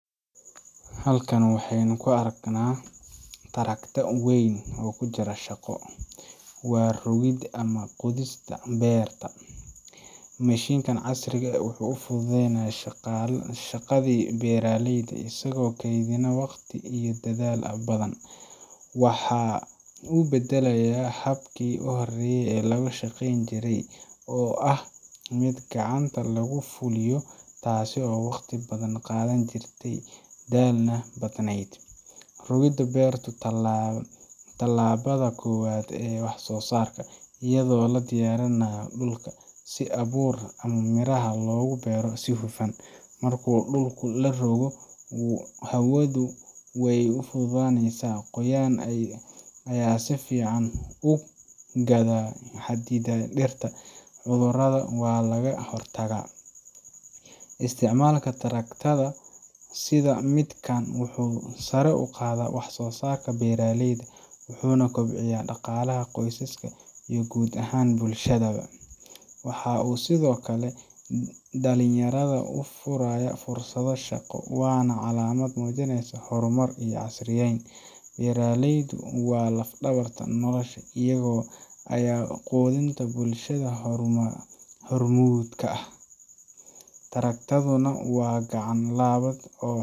Halkan waxa aynu ku arkaynaa trakta weyn oo ku jira shaqo waa rogidda ama qodista beer. Mashiinkan casriga ah wuxuu fududeeyaa shaqadii beeraleyda, isagoo kaydina waqti iyo dadaal badan. Waxa uu beddelayaa habkii hore ee lagu shaqayn jiray oo ahaa mid gacanta lagu fuliyo, taas oo waqti badan qaadan jirtay, daalna badnayd. Rogidda beertu waa tallaabada koowaad ee wax soosaarka iyadoo la diyaarinayo dhulka, si abuurka ama miraha loogu beero si hufan. Marka dhulku la rogo, hawadu way u fududaanaysaa, qoyaan ayaa si fiican u gaadha xididada dhirta, cudurradana waa laga hortagaa. Isticmaalka traktada sida midkan, wuxuu sare u qaadaa wax soosaarka beeraleyda, wuxuuna kobciyaa dhaqaalaha qoysaska iyo guud ahaan bulshada. Waxa uu sidoo kale dhalinyarada u furayaa fursado shaqo, waana calaamad muujinaysa horumar iyo casriyeyn. Beeralaydu waa laf dhabarka nolosha iyaga ayaa quudinta bulshada hormuud ka ah traktaduna waa gacan .